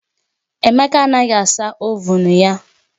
Emeka anaghị asa ovuun ya